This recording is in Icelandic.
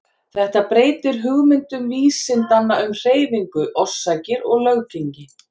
Þetta breytir hugmyndum vísindanna um hreyfingu, orsakir og löggengi.